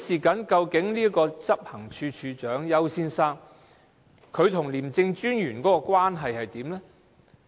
究竟執行處首長丘先生跟廉政專員的關係是怎樣的呢？